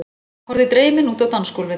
Horfði dreymin út á dansgólfið.